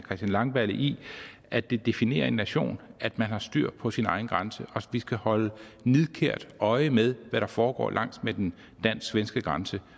langballe i at det definerer en nation at man har styr på sin egen grænse og vi skal holde nidkært øje med hvad der foregår langs med den dansk svenske grænse